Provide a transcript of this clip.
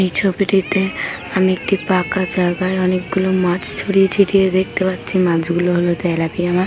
এই ছবিটিতে আমি একটি ফাঁকা জায়গায় অনেকগুলো মাছ ছড়িয়ে ছিটিয়ে দেখতে পাচ্ছি মাছ গুলো হলো তেলাপিয়া মাছ।